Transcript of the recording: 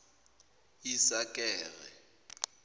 isakare